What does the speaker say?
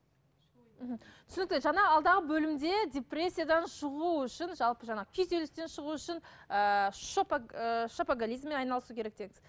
мхм түсінікті жаңа алдағы бөлімде депрессиядан шығу үшін жалпы жаңағы күйзелістен шығу үшін ыыы шопоголизммен айналысу керек деді